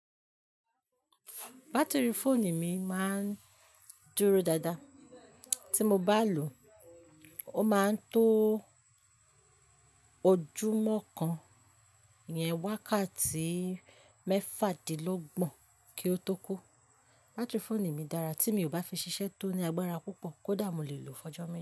Batiri fóònù mi máa ń dúró dáadáa. Tí mo bá lò ó, ó máa ń tó ojúmọ́ kan yẹn wákàtí mẹ́fàdínlọ́gbọ̀n kí ó tó kó. Batiri fóònù mi dára tí mi ò bá fi ṣiṣẹ́ tó ní agbára púpọ̀ kó dàà mo lè lò f'ọjọ́ me.